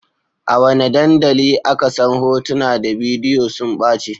A wane dandali aka san hotuna da bidiyo sun ɓace?